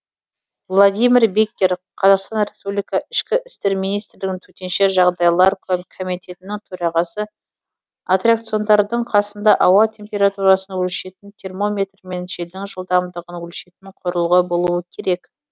владимир беккер қазақстан республикасы ішкі істер министрлігі төтенше жағдайлар комитетінің төрағасы атракциондардың қасында ауа температурасын өлшейтін термометр мен желдің жылдамдығын өлшейтін құрылғы болуы керек